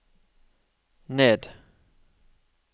ned